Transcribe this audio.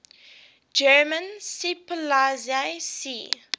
german seepolizei sea